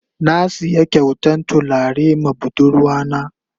Na siya kyautan tulare ma budurwa na.